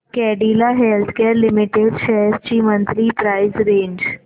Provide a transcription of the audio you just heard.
Cadila healthcare limited shares ची monthly price range